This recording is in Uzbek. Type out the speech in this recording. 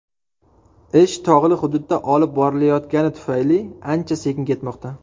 Ish tog‘li hududda olib borilayotgani tufayli ancha sekin ketmoqda.